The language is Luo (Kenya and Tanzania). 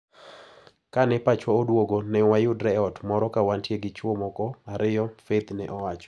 Ka ne pachwa oduogo ne wayudre e ot moro ka wantie gi chwo moko ariyo, Faith ne owacho.